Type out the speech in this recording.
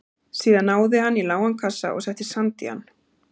Síðan náði hann í lágan kassa og setti sand í hann.